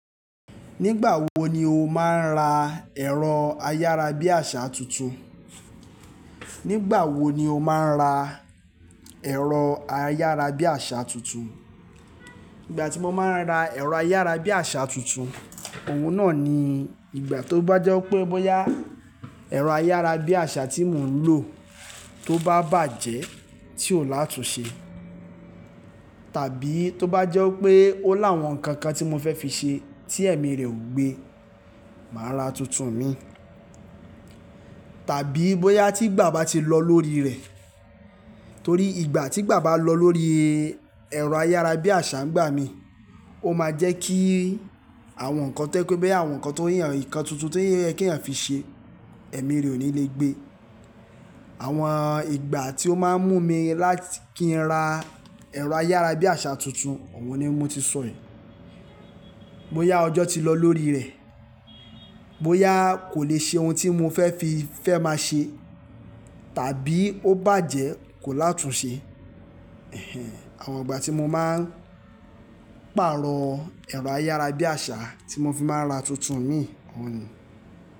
Nígbàwo ni o máa ń ra ẹ̀rọ ayára bí àsá tuntun? Nígbàwo ni o máa ń ra ẹ̀rọ ayára bí àsá tuntun? Ìgbà tí mo máa ń ra ẹ̀rọ ayára bí àsá tuntun, òun náà ni ìgbà tó bá jẹ́ pé bóyá ẹ̀rọ ayára bí àsá tí mò ń lò tó bá bàjẹ́ tí kò látunse, tàbí tó bá jẹ́ pé ó láwọn nǹkan kan tí mo fẹ́ fi ṣe tí ẹ̀mí rẹ̀ ò gbe, màá ra tuntun mì. Tàbí bóyá tí ìgbà bá ti lọ lórí rẹ̀. Torí ìgbà tí ìgbà bá lọ lórí ẹ̀rọ ayára bí àsá ń gbà mí, ó máa jẹ́ kí àwọn nǹkan tẹ́ pé bẹ́ àwọn nǹkan teyàn nǹkan tuntun tí oye ki eeyàn fi ṣe, ẹ̀mí rẹ ò ní lè gbé. Àwọn ìgbà tí ó máa ń mú mi láti kí n ra ẹ̀rọ ayára bí àsá tuntun, òun ni mo ti sọ yìí. Bóyá ọjọ́ ti lọ lórí rẹ̀, bóyá kò lè ṣe ohun tí mo fẹ́ fi fẹ́ máa ṣe, tàbí ó bàjẹ́ kò látunse. Àwọn ìgbà tí mo máa ń pàrọ̀ ẹ̀rọ ayára bí àsá tí mo fi máa ń ra tuntun mì, òun ni.